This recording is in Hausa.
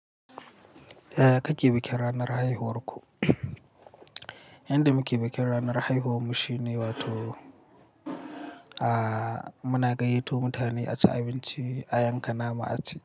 Yaya kake bikin ranar haihuwar ku yanda muke bikin ranar haihuwar mu shine wato muna gayyato mutane a ci abinci, a yanka nama a ci.